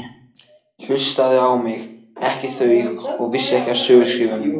Hlustaði á mig, ekki þau, og vissu ekki af söguskrifum.